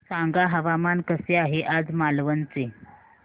सांगा हवामान कसे आहे आज मालवण चे